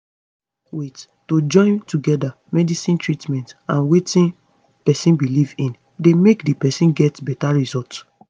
wait - to join together medicine treatment and wetin pesin belief in dey make di person get beta result